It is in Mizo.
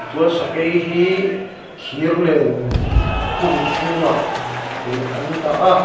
chuan sakei hi thir len hung chhungah ih an dah a.